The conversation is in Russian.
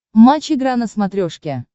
матч игра на смотрешке